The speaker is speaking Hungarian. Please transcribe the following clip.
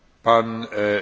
Elnök úr!